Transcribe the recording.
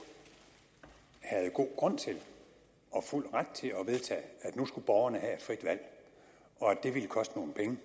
havde god grund til og fuld ret til at vedtage at nu skulle borgerne have et frit valg og at det ville koste nogle penge